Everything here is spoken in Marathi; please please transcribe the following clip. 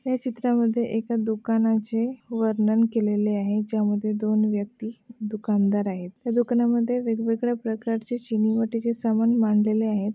या चित्रामध्ये एका दुकानाचे वर्णन केलेले आहे ज्यामध्ये दोन व्यक्ति दुकानदार आहेत दुकानामध्ये वेगवेगळ्या प्रकारचे चीनी मातीचे सामान मांडलेल्या आहेत.